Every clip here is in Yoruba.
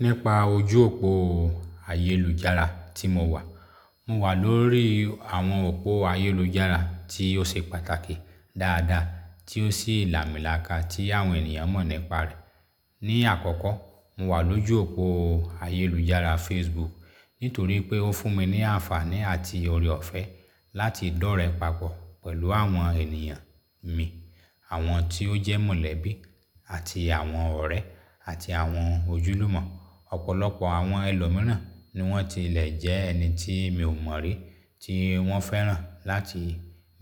Nípa ojú òpó ayélujára tí mo wà. Mo wà lórí àwọn òpó ayélujára tí ó ṣe pàtàkì dáadáa tí ó sì ìlámìlaka tí àwọn ènìyàn mọ̀ nípa rẹ̀. Ni àkọ́kọ́, mo wà lójú òpó ayélujára Facebook nítorí pé ó fún mi ní àǹfààní àti ọrẹ ọ̀fẹ́ láti dọ́rẹ̀ papọ̀ pẹ̀lú àwọn ènìyàn mi, àwọn tí ó jẹ́ mọ̀lẹ́bí àti àwọn ọ̀rẹ́ àti àwọn ojúlùmọ̀. Ọ̀pọ̀lọpọ̀ àwọn ẹlòmíràn ni wọ́n tilẹ̀ jẹ́ ẹni tí mi ò mọ̀ rí tí wọ́n fẹ́ràn láti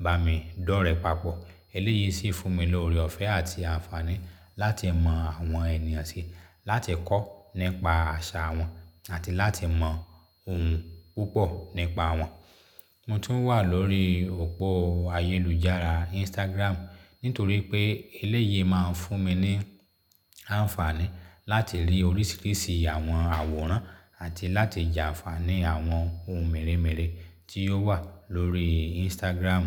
bá mi dọ́rẹ̀ papọ̀. Eléyìí sì fún mi ní ọrẹ ọ̀fẹ́ àti àǹfààní láti mọ àwọn ènìyàn sí, láti kọ́ nípa àṣà wọn àti láti mọ ohun púpọ̀ nípa wọn. Mo tún wà lórí òpó ayélujára Instagram nítorí pé eléyìí máa ń fún mi ní àǹfààní láti rí oríṣiríṣi àwọn àwòrán àti láti j'aǹfàní àwọn ohun mèremère tí ó wà lórí Instagram.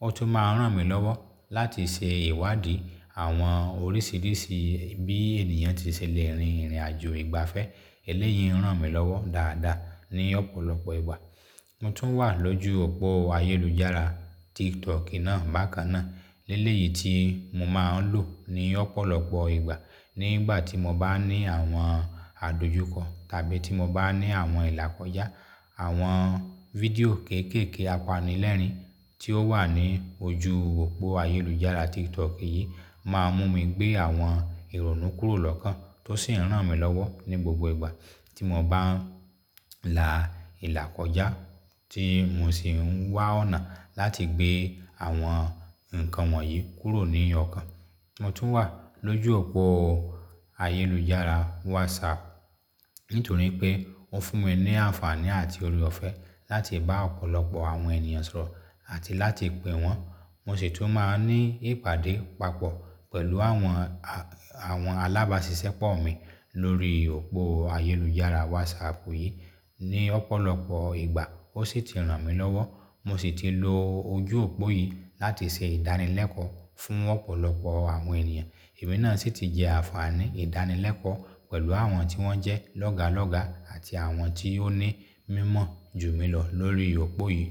Ó tún máa ń ràn mí lọ́wọ́ láti ṣe ìwádìí àwọn oríṣiríṣi bí ènìyàn tí ṣe lè rin ìrìnàjò ìgbafẹ́. Eléyìí ń ràn mí lọ́wọ́ dáadáa ní ọ̀pọ̀lọpọ̀ ìgbà. Mo tún wà lójú òpó ayélujára TikTok náà bákan náà. Eléyìí tí mo máa ń lò ní ọ̀pọ̀lọpọ̀ ìgbà nígbà tí mo bá ní àwọn àdojúkọ tàbí tí mo bá ní àwọn ìlàkọjá. Àwọn fídíò kéékèèké apanilẹ́rìn tí ó wà ní ojú òpó ayélujára TikTok yìí, máa ń mú mi gbé àwọn ìrònú kúrò lọ́kàn tó sì ń ràn mí lọ́wọ́ ní gbogbo ìgbà tí mo bá ń la ìlàkọjá tí mo sì ń wá ọ̀nà láti gbé àwọn nǹkan wọ̀nyí kúrò ní ọ̀kán. Mo tún wà lójú òpó ayélujára WhatsApp nítorí pé ó fún mi ní àǹfààní àti ọrẹ ọ̀fẹ́ láti bá ọ̀pọ̀lọpọ̀ àwọn ènìyàn sọ̀rọ̀ àti láti pe wọ́n. Mo sì tún máa ń ní ìpàdé papọ̀ pẹ̀lú àwọn, àwọn alábàásisẹ́pọ̀ mi lórí òpó ayélujára WhatsApp yìí ní ọ̀pọ̀lọpọ̀ ìgbà ó sì ti ràn mí lọ́wọ́. Mo sì ti lo ojú òpó yìí láti ṣe ìdánilẹ́kọ̀ọ́ fún ọ̀pọ̀lọpọ̀ àwọn ènìyàn. Ẹ̀mí náà sì ti jẹ àǹfààní ìdánilẹ́kọ̀ọ́ pẹ̀lú àwọn tí wọ́n jẹ́ lọ́gálọ́ga àti àwọn tí ó ní mímọ̀ jù mí lọ lórí òpó yìí.